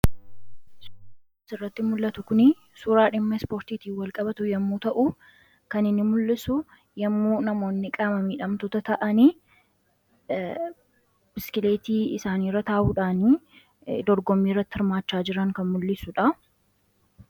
Suuraan as irratti mul'atu kun suuraa dhimma spoortiitii walqabatu yommuu ta'u kanhinni mul'isu yommuu namoonni qaamamidhamtoota ta'anii biskileetii isaaniirra taa'uudhaanii dorgommii irratti hirmaachaa jiran kan mul'isudha.